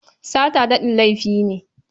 Sata daɗen laifi ne.